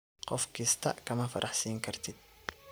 Qof kistaa kama faraxsinkartid.